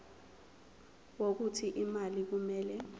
wokuthi imali kumele